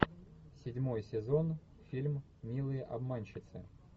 седьмой сезон фильм милые обманщицы